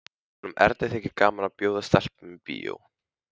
Honum Erni þykir gaman að bjóða stelpum í bíó.